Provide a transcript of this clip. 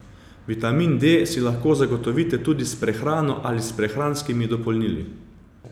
Vitamin D si lahko zagotovite tudi s prehrano ali s prehranskimi dopolnili.